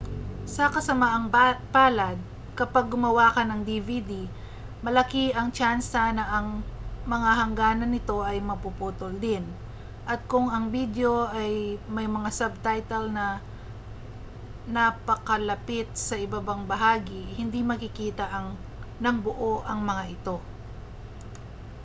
sa kasamaang palad kapag gumawa ka ng dvd malaki ang tyansa na ang mga hangganan nito ay mapuputol rin at kung ang bidyo ay may mga subtitle na napakalapit sa ibabang bahagi hindi makikita nang buo ang mga ito